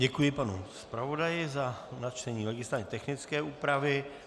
Děkuji panu zpravodaji za načtení legislativně technické úpravy.